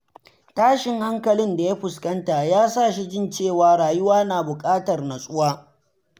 Tashin hankalin da ya fuskanta ya sa shi jin cewa rayuwa na buƙatar natsuwa.